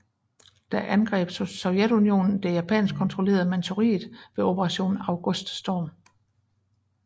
Da angreb Sovjetunionen det japansk kontrollerede Manchuriet ved Operation Auguststorm